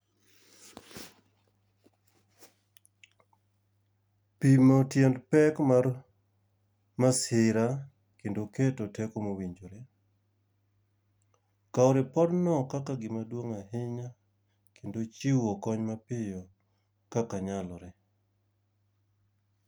Pimo tiend pek mar masira, kendo keto teko mowinjore. Kao ripodno kaka gima duong' ahinya kendo chiwo kony ma piyo kaka nyalore.